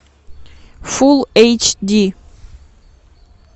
фулл эйч ди